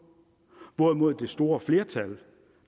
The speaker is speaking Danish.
hvorimod det store flertal